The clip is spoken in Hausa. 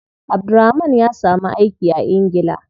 Abdulrahman ya samu aiki a ingila.